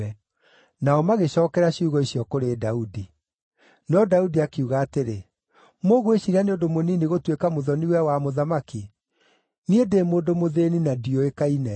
Nao magĩcookera ciugo icio kũrĩ Daudi. No Daudi akiuga atĩrĩ, “Mũgwĩciiria nĩ ũndũ mũnini gũtuĩka mũthoni-we wa mũthamaki? Niĩ ndĩ mũndũ mũthĩĩni na ndiũĩkaine.”